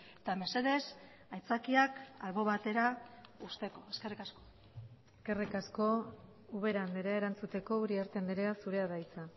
eta mesedez aitzakiak albo batera uzteko eskerrik asko eskerrik asko ubera andrea erantzuteko uriarte andrea zurea da hitza